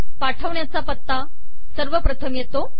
पाठवण्याचा पत्ता सर्वप्रथम येतो